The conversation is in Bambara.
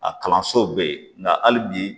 A kalanso bɛ yen nka hali bi